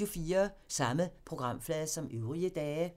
Samme programflade som øvrige dage